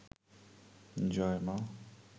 জয় মা